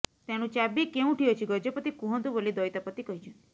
ତେଣୁ ଚାବି କେଉଁଠି ଅଛି ଗଜପତି କୁହନ୍ତୁ ବୋଲି ଦଇତାପତି କହିଛନ୍ତି